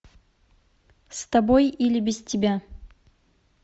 с тобой или без тебя